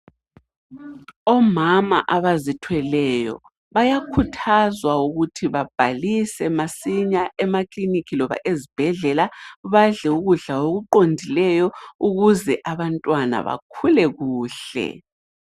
Omama abazithweleyo bayakhuthazwa ukuthi babhalise masinya emaklinikhi loba ezibhedlela, badle ukudla okuqondileyo ukuze abantwana bakhule kuhle.